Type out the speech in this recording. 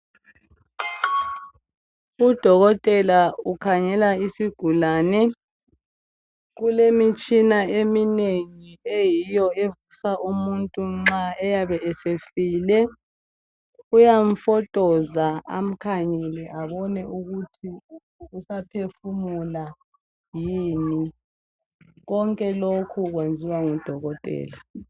Udokotela ukhangela isigulane. Kulemitshina eminengi eyiyo evusa umuntu nxa eyabe esefile. Uyamfotoza amkhangele abone ukuthi usaphefumula yini. Konke lokhu kwenziwa ngudokotela.